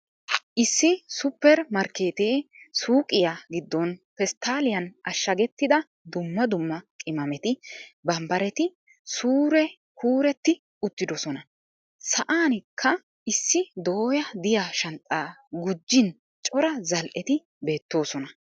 Issi super markkeettee suuqqiya giddon pesttaliyan ashshagetidda dumma dumma qimameti, barbbaretti suuree kuuretti uttidoosona. Sa'anikka issi dooya diya shanxxaa gujin cora zal'etti beettoosona.